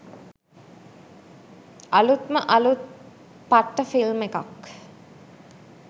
අළුත්ම අළුත් පට්ට ෆිල්ම් එකක්